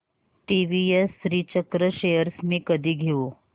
TVS Srichakra shares मी कधी घेऊ